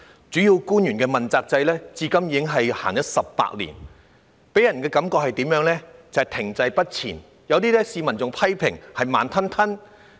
主要官員問責制自實施至今，已有18年，卻給人停滯不前的感覺，被市民批評為"慢吞吞"。